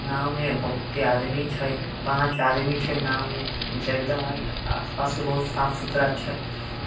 नाव मे बोहोत ही आदमी छय पाच आदमी छय नाव मे जगदा मा आसपास का बहुत साफ सुथरा छय